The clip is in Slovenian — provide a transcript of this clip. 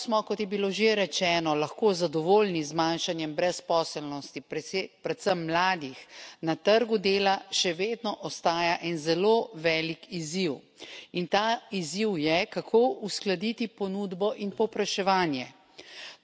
Čeprav smo, kot je bilo že rečeno, lahko zadovoljni z zmanjšanjem brezposelnosti, predvsem mladih, na trgu dela še vedno ostaja en zelo velik izziv, in ta izziv je, kako uskladiti ponudbo in povpraševanje.